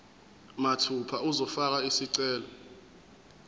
mathupha uzofaka isicelo